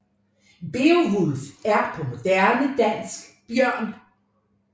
Beovulf er på moderne dansk Bjørn